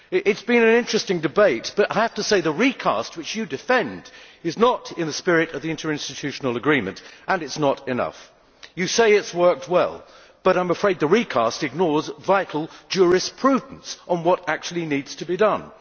It has been an interesting debate but I have to say that the recast which you defend is not in the spirit of the interinstitutional agreement and it is not enough. You say it has worked well, but I am afraid the recast ignores vital jurisprudence on what actually needs to be done.